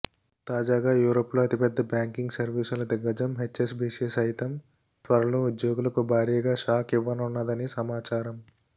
తాజాగా యూరప్లో అతి పెద్ద బ్యాంకింగ్ సర్వీసుల దిగ్గజం హెచ్ఎస్బీసీ సైతం త్వరలో ఉద్యోగులకు భారీగా షాక్ ఇవ్వనున్నదని సమాచారం